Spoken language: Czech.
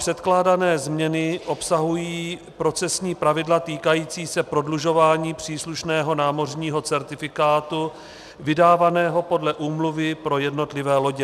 Předkládané změny obsahují procesní pravidla týkající se prodlužování příslušného námořního certifikátu vydávaného podle úmluvy pro jednotlivé lodě.